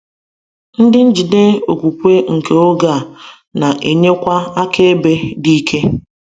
Ndị njide okwukwe nke oge a na-enyekwa akaebe dị ike.